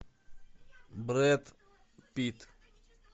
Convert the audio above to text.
брэд питт